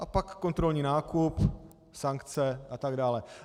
A pak kontrolní nákup, sankce a tak dále.